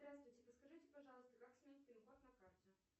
здравствуйте подскажите пожалуйста как сменить пин код на карте